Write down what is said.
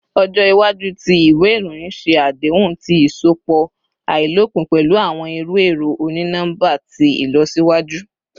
Ọjọ iwaju ti iwe iroyin ṣe adehun ti iṣọpọ ailopin pẹlu awọn iru ẹrọ oni-nọmba ti ilọsiwaju